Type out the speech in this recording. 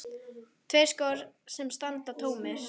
Tveir skór sem standa tómir.